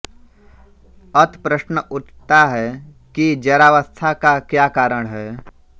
अत प्रश्न उठता है कि जरावस्था का क्या कारण है